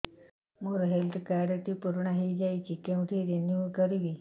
ମୋ health card ଟି ପୁରୁଣା ହେଇଯାଇଛି କେଉଁଠି ରିନିଉ କରିବି